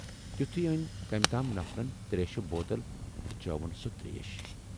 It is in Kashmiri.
تِتھُے ٲنۍ کمٔۍ تام نفرن تریشہِ بوتل تہٕ چٲوٕن سۅ تریش۔